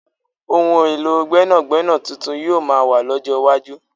Ohun èlò gbẹ́nàgbẹ́nà tuntun yoo maa wà lọ́jọ́ iwájú